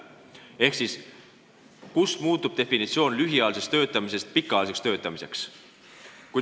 Seega, kust alates muutub lühiajaline töötamine pikaajaliseks töötamiseks?